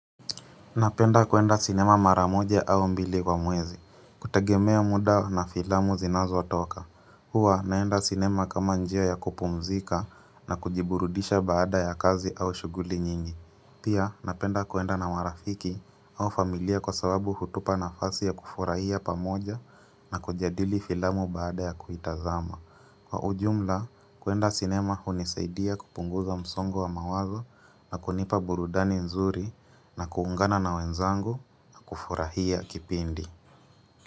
Napenda kuenda sinema mara moja au mbili kwa mwezi. Kutagemea muda na filamu zinazotoka. Hua naenda sinema kama njia ya kupumzika na kujiburudisha baada ya kazi au shuguli nyingi. Pia napenda kuenda na marafiki au familia kwa sababu hutupa nafasi ya kufurahia pamoja na kujadili filamu baada ya kuitazama. Kwa ujumla, kuenda cinema hunisaidia kupunguza msongo wa mawazo na kunipa burudani nzuri na kuungana na wenzangu na kufurahia kipindi.